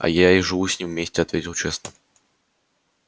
а я и живу с ним вместе ответил честно